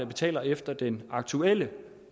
betaler efter den aktuelle